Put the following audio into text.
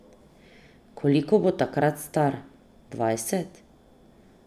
Koliko bo takrat star, dvajset?